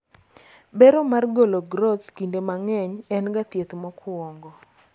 bero mar golo groth kinde mang'eny en ga thieth mokwongo